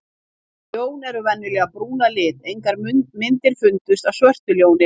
Ljón eru venjulega brún að lit, engar myndir fundust af svörtu ljóni.